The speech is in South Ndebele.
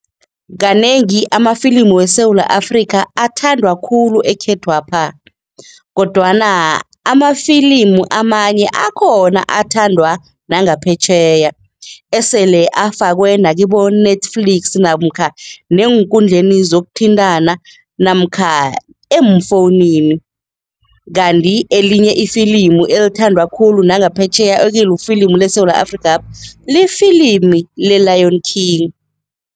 Kanengi amafilimu weSewula Afrika athandwa khulu ekhethwapha kodwana amafilimu amanye akhona athandwa nangaphetjheya esele afakwe nakibo-Netflix namkha neenkundleni zokuthintana namkha eemfowunini. Kanti elinye ifilimu elithandwa khulu nangaphetjheya ekulifilimu leSewula Afrikapha, lifilimi le-Lion King.